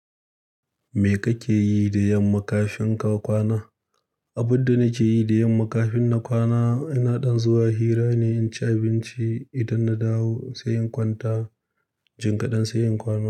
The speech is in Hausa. Me kake yi da yamma kafin ka kwana? Abin da nake yi da yamma kafin na kwana, ina ɗan zuwa hira ne in ci abinci. Idan na dawo sai in kwanta, jim kaɗan sai in kwana.